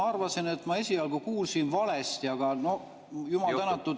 Ma arvasin, et ma esialgu kuulsin valesti, aga no jumal tänatud …